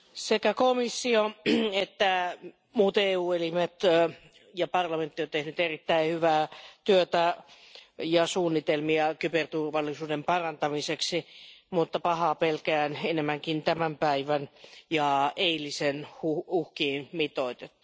Arvoisa puhemies, sekä komissio että muut EU elimet ja parlamentti ovat tehneet erittäin hyvää työtä ja suunnitelmia kyberturvallisuuden parantamiseksi mutta pahoin pelkään enemmän tämän päivän ja eilisen uhkiin mitoitettuna.